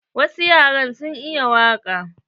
Wasu yaran sun iya waƙa.